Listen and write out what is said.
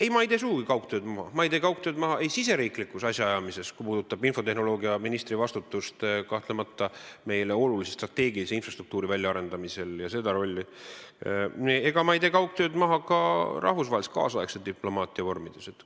Ei, ma ei tee sugugi kaugtööd maha, ma ei tee kaugtööd maha ei riigisiseses asjaajamises, mis puudutab infotehnoloogiaministri vastutust meile kahtlemata olulise strateegilise infrastruktuuri väljaarendamisel ja seda rolli, ega tee kaugtööd maha ka nüüdisaegse rahvusvahelise diplomaatia vormide puhul.